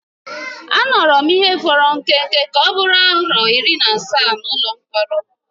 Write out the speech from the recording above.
Anọrọ m ihe fọrọ nke nta ka ọ bụrụ afọ iri na asaa n’ụlọ mkpọrọ.